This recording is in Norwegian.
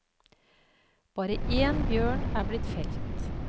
Bare én bjørn er blitt felt.